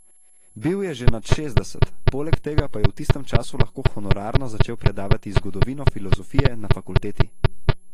Bil je že nad šestdeset, poleg tega pa je v tistem času lahko honorarno začel predavati zgodovino filozofije na fakulteti.